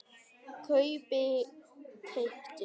kaupi- keypti